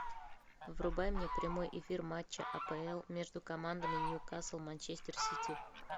врубай мне прямой эфир матча апл между командами ньюкасл манчестер сити